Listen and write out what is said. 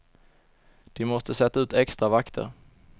De måste sätta ut extra vakter.